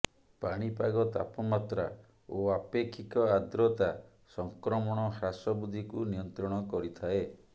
ପାଣିପାଗ ତାପମାତ୍ରା ଓ ଆପେକ୍ଷିକ ଆର୍ଦ୍ରତା ସଂକ୍ରମଣ ହ୍ରାସ ବୃଦ୍ଧିକୁ ନିୟନ୍ତ୍ରଣ କରିଥାଏ